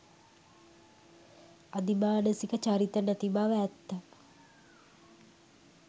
අධිමානසික චරිත නැතිබව ඇත්ත.